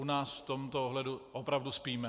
U nás v tomto ohledu opravdu spíme.